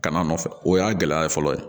Kana nɔfɛ o y'a gɛlɛya fɔlɔ ye